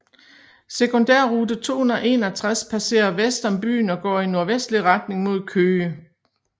Sekundærrute 261 passerer vest om byen og går i nordvestlig retning mod Køge